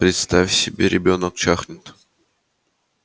представь себе ребёнок чахнет